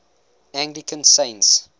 anglican saints